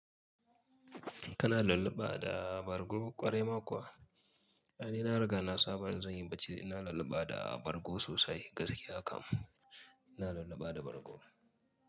Kana lullaɓa da bargo ƙwarai ma kuwa? Ai ni na riga na saba in zan yi bacci ina lulluɓa da bargo sosai gaskiya kam ina lulluɓa da bargo.